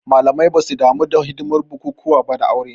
Malamai basu damu da hidimar bukukuwan ba aure